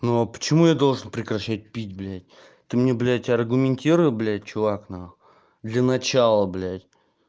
ну а почему я должен прекращать пить блядь ты мне блять аргументируй блять чувак нахуй для начала блядь